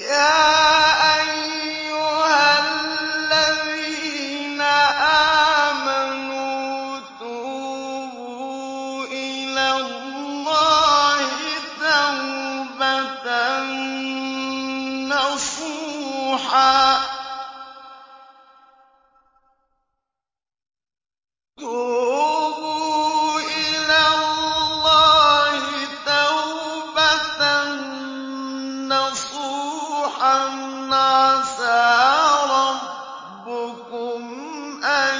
يَا أَيُّهَا الَّذِينَ آمَنُوا تُوبُوا إِلَى اللَّهِ تَوْبَةً نَّصُوحًا عَسَىٰ رَبُّكُمْ أَن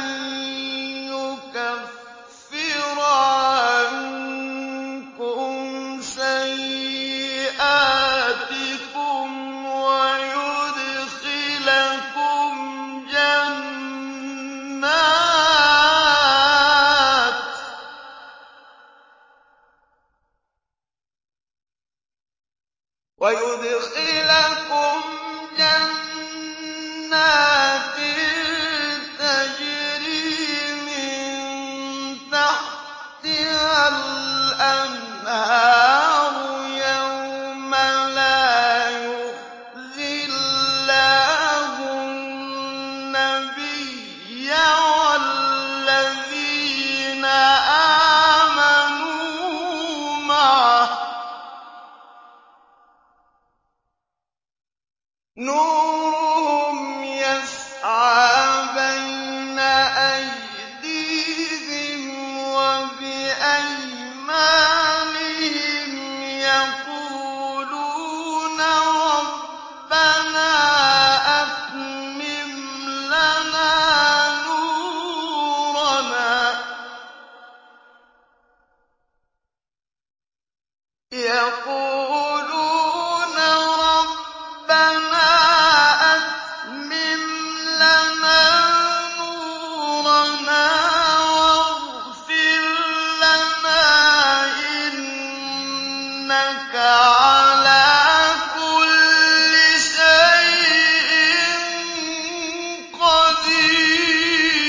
يُكَفِّرَ عَنكُمْ سَيِّئَاتِكُمْ وَيُدْخِلَكُمْ جَنَّاتٍ تَجْرِي مِن تَحْتِهَا الْأَنْهَارُ يَوْمَ لَا يُخْزِي اللَّهُ النَّبِيَّ وَالَّذِينَ آمَنُوا مَعَهُ ۖ نُورُهُمْ يَسْعَىٰ بَيْنَ أَيْدِيهِمْ وَبِأَيْمَانِهِمْ يَقُولُونَ رَبَّنَا أَتْمِمْ لَنَا نُورَنَا وَاغْفِرْ لَنَا ۖ إِنَّكَ عَلَىٰ كُلِّ شَيْءٍ قَدِيرٌ